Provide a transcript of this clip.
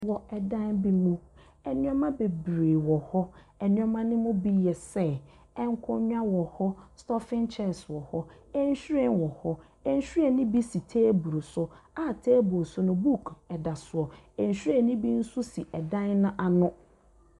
Wɔ dan bi mu, nneɛma bebree wɔ hɔ. Nneɛma no bi yɛ sɛ nkonnwa wɔ hɔ, staffing chairs wɔ hɔ, nhwiren wɔ hɔ. Nhwiren no bi si table so a table no so no buuku da so. Nhwiren no bi nso si dan no ano.